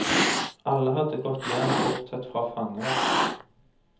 Alle hadde gått hjem bortsett fra fangevakten.